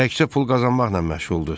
Təkcə pul qazanmaqla məşğuldur.